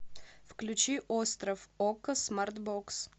включи остров окко смарт бокс